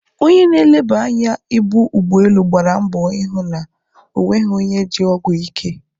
Onye na-eleba anya ibu ụgbọ elu gbara mbọ ịhụ na o nweghị onye ji ọgwụ ike.